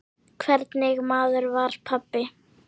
Hvernig maður var pabbi?